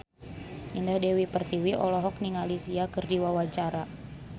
Indah Dewi Pertiwi olohok ningali Sia keur diwawancara